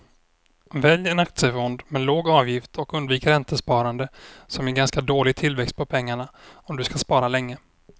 Välj en aktiefond med låg avgift och undvik räntesparande som ger ganska dålig tillväxt på pengarna om du ska spara länge.